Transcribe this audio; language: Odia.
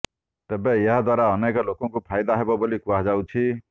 ତେବେ ଏହା ଦ୍ବାରା ଅନେକ ଲୋକଙ୍କୁ ଫାଇଦା ହେବ ବୋଲି କୁହାଯାଉଛି